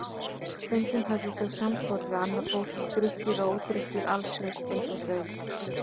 Stundum höfðu þau samflot við annað fólk, drukkið og ódrukkið, allslaust eins og þau.